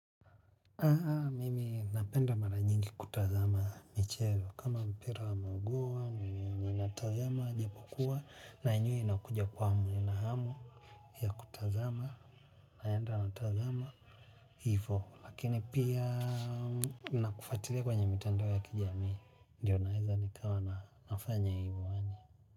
Mimi napenda mara nyingi kutazama michezo, kama mpira wa magoa, ninatazama, japokuwa, na yenyewe inakuja kwangu, nina hamu ya kutazama, naenda natazama, hivo, lakini pia na kufuatilia kwenye mitandao ya kijamii ndio ninaweza nikawa nafanya hivyo yaani.